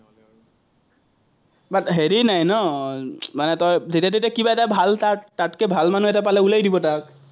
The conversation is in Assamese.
but হেৰি নাই ন, মানে তই যেতিয়া-তেতিয়াই কিবা এটা ভাল তাত, তাতকে ভাল মানুহ এটা পালে দিব তাক।